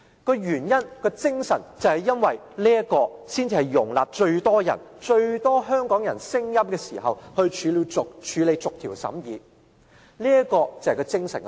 這樣做的理由和精神是，可以在容納最多香港人聲音的時候，進行逐項審議，這是有關安排精神所在。